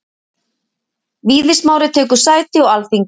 Víðir Smári tekur sæti á Alþingi